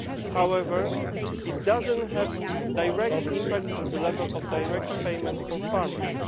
However, it does not have a direct impact on the level of direct payments for farmers.